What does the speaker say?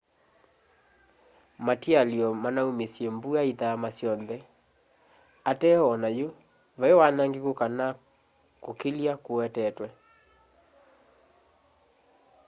matialyo manaumisye mbua ithama syonthe ateo o nayu vai wanangiku kana kukilya kuwetetwe